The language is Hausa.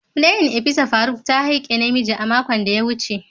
playin opisa faruk ta haike namiji makon da ya wuce.